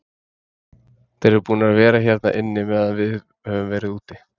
Þeir eru búnir að vera hérna inni meðan við höfum verið úti.